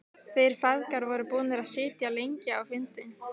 Þeir feðgar voru búnir að sitja lengi á fundi.